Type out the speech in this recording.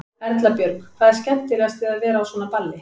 Erla Björg: Hvað er skemmtilegast við að vera á svona balli?